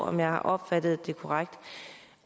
om jeg har opfattet det korrekt